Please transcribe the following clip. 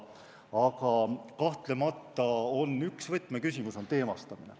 Aga kahtlemata on üks võtmeküsimus teemastamine.